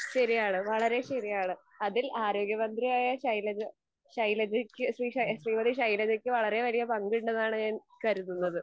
ശെരിയാണ് വളരേ ശെരിയാണ് അതിൽ ആരോഗ്യ മന്ത്രി ആയ ശൈലജ ശൈലജക്ക് ശ്രീ ശ്രീമതി ശൈലജക്ക് വളരേ വലിയ പങ്കുണ്ടെന്നാണ് ഞാൻ കരുതുന്നത്.